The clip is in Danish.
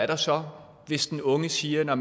der så er hvis den unge siger at